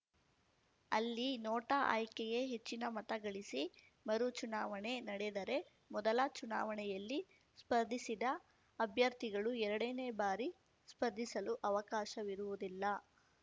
ಅಲ್ಲಿ ನೋಟಾ ಆಯ್ಕೆಯೇ ಹೆಚ್ಚಿನ ಮತ ಗಳಿಸಿ ಮರು ಚುನಾವಣೆ ನಡೆದರೆ ಮೊದಲ ಚುನಾವಣೆಯಲ್ಲಿ ಸ್ಪರ್ಧಿಸಿದ್ದ ಅಭ್ಯರ್ಥಿಗಳು ಎರಡನೇ ಬಾರಿ ಸ್ಪರ್ಧಿಸಲು ಅವಕಾಶವಿರುವುದಿಲ್ಲ